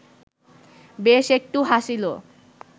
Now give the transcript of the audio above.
বেশ একটু হাসিল